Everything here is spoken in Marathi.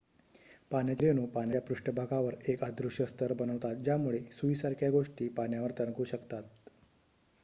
पाण्याचे रेणू पाण्याच्या पृष्ठभागावर एक अदृश्य स्तर बनवतात ज्यामुळे सुईसारख्या गोष्टी पाण्यावर तरंगू शकतात